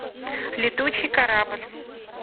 летучий корабль